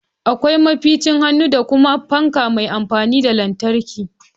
Akwai maficin hannu da kuma fanka mai amfani da lantarki